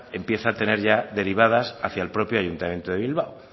empieza a tener ya derivadas hacia el propio ayuntamiento de bilbao